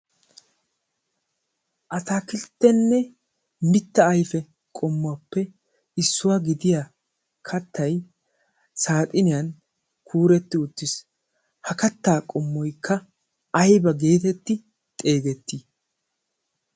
a taakilttenne mitta aife qommuwaappe issuwaa gidiya kattai saaxiniyan kuuretti uttiis. ha kattaa qommoikka aiba geetetti xeegettii?